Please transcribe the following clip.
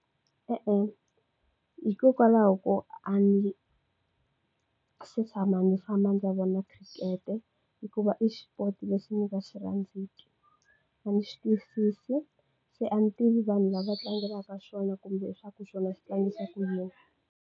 E-e, hikokwalaho ko a ni se tshama ndzi famba ndzi vona khirikete hikuva i xipoto lexi ni nga xi rhandziku a ni xi twisisi se a ni tivi vanhu lava tlangelaka xona kumbe swa ku xona xi tlangisa ku yini.